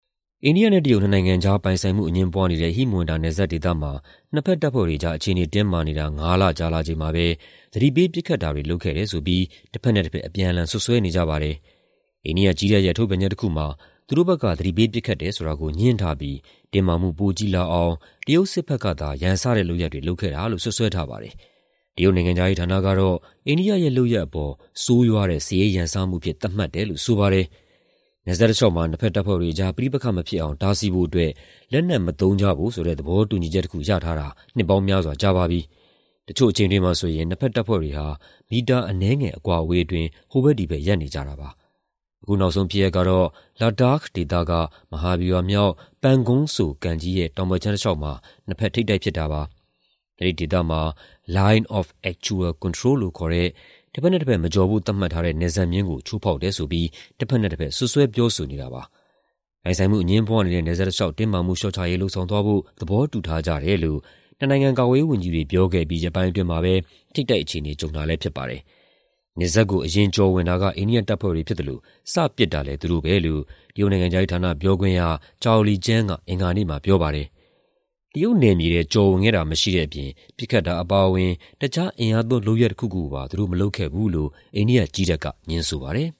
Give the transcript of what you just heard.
အိန္ဒိယ-တရုတ် နှစ်နိုင်ငံကြား ပိုင်ဆိုင်မှုအငြင်းပွားနေတဲ့ ဟိမဝန္တာ နယ်စပ်ဒေသမှာ နှစ်ဘက်တပ်ဖွဲ့တွေအကြား အခြေအနေတင်းမာနေတာ ငါးလကြာလာချိန်မှာပဲ သတိပေး ပစ်ခတ်တာတွေ လုပ်တယ်ဆိုပြီး တဘက်နဲ့ တဘက် အပြန်အလှန် စွပ်စွဲနေကြပါတယ်။ အိန္ဒိယကြည်းတပ်ရဲ့ ထုတ်ပြန်ချက်တခုမှာ သူတို့ဘက်က သတိပေးပစ်ခတ်တယ်ဆိုတာကို ငြင်းထားပြီး တင်းမာမှုပိုကြီးလာအောင် တရုတ်စစ်တပ်ဘက်ကသာ ရန်စတဲ့လုပ်ရပ်တွေ လုပ်ခဲ့တာလို့ စွပ်စွဲထားပါတယ်။ တရုတ်နိုင်ငံခြားရေးဌာနကတော့ အိန္ဒိယရဲ့ လုပ်ရပ်အပေါ် ဆိုးရွားတဲ့ စစ်ရေးရန်စမှုအဖြစ် သတ်မှတ်တယ်လို့ ဆိုပါတယ်။ နယ်စပ်တလေ ျှာက်မှာ နှစ်ဘက်တပ်ဖွဲ့တွေအကြား ပဋိပက္ခမဖြစ်အောင် တားဆီးဖို့အတွက် လက်နက်မသုံးကြဖို့ဆိုတဲ့ သဘောတူညီချက်တခု ရထားတာ နှစ်ပေါင်းများစွာကြာပါပြီ။ တချို့အချိန်တွေမှာဆိုရင် နှစ်ဘက်တပ်ဖွဲ့တွေဟာ မီတာအနည်းငယ် အကွာအဝေးအတွင်း ဟိုဘက်ဒီဘက် ရပ်နေကြတာပါ။ အခုနောက်ဆုံးဖြစ်ရပ်ကတော့ Ladakh ဒေသက မဟာဗျူဟာမြောက် Pangong Tso ကန်ကြီးရဲ့ တောင်ဘက်ခြမ်းတလေ ျှာက်မှာ နှစ်ဘက် ထိပ်တိုက်ဖြစ်တာပါ။ အဲဒီဒေသမှာ "line of actual control" လို့ခေါ်တဲ့ တဘက်နဲ့ တဘက် မကျော်ဖို့ သတ်မှတ်ထားတဲ့ နယ်စပ်မျဉ်းကို ချိုးဖောက်တယ်ဆိုပြိး တဘက်နဲ့တဘက် စွပ်စွဲ ပြောဆိုထားတာပါ။ ပိုင်ဆိုင်မှုအငြင်းပွားနေတဲ့ နယ်စပ်တလေ ျှာက် တင်းမာမှုလေ ျှာ့ချရေး လုပ်ဆောင်သွားဖို့ သဘောတူထားကြတယ်လို့ နှစ်နိုင်ငံ ကာကွယ်ရေးဝန်ကြီးတွေ ပြောခဲ့အပြီး ရက်ပိုင်းအတွင်းမှာပဲ ထိပ်တိုက်အခြေအနေ ကြုံတာလည်းဖြစ်ပါတယ်။ နယ်စပ်ကို အရင်ကျော်ဝင်တာ အိန္ဒိယတပ်ဖွဲ့တွေဖြစ်သလို စပစ်တာလည်း သူတို့ပဲလို့ တရုတ်နိုင်ငံခြားရေးဌာန ပြောခွင့်ရ Zhao Lijian က အင်္ဂါနေ့မှာပြောပါတယ်။ တရုတ်နယ်မြေထဲ ကျော်ဝင်ခဲ့တာ မရှိတဲ့အပြင် ပစ်ခတ်တာအပါအဝင် တခြား အင်အားသုံးလုပ်ရပ်တခုခုကိုပါ သူတို့မလုပ်ခဲ့ဘူးလို့ အိန္ဒိယကြည်းတပ်က ငြင်းဆိုပါတယ်